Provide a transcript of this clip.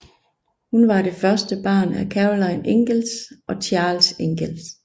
Hun var det første barn af Caroline Ingalls og Charles Ingalls